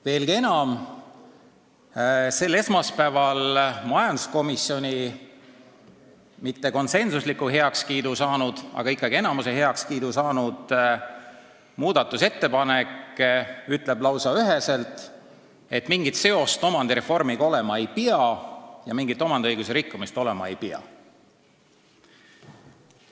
Veelgi enam: sel esmaspäeval majanduskomisjoni mitte konsensusliku heakskiidu saanud, aga ikkagi enamuse heakskiidu saanud muudatusettepanek ütleb lausa üheselt, et mingit seost omandireformiga olema ei pea ja mingit omandiõiguse rikkumist olema ei pea.